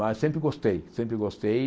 Mas sempre gostei, sempre gostei.